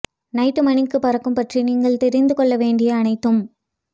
night மணிக்கு பறக்கும் பற்றி நீங்கள் தெரிந்து கொள்ள வேண்டிய அனைத்தும்